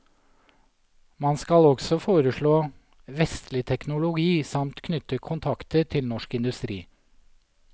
Man skal også foreslå vestlig teknologi samt knytte kontakter til norsk industri.